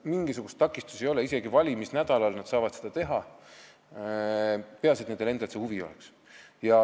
Mingisugust takistust ei ole, nad saavad seda isegi valimisnädalal teha, peaasi, et neil endal huvi oleks.